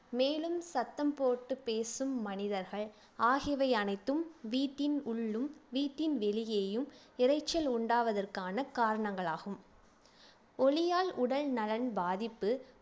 மேலும் சத்தம் போட்டு பேசும் மனிதர்கள் ஆகியவை அனைத்தும் வீட்டின் உள்ளும் வீட்டின் வெளியேயும் இரைச்சல் உண்டாவதற்கான காரணங்களாகும் ஒலியால் உடல்நலன் பாதிப்பு